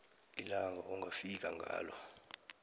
ilanga ongafika ngalo